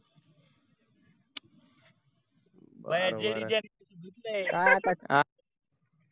जडेजाने धुतलंय